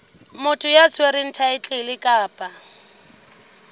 motho ya tshwereng thaetlele kapa